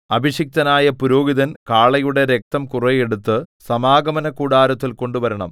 അഭിഷിക്തനായ പുരോഹിതൻ കാളയുടെ രക്തം കുറെ എടുത്തു സമാഗമനകൂടാരത്തിൽ കൊണ്ടുവരണം